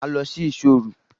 Ma lọ sí ìṣò òru!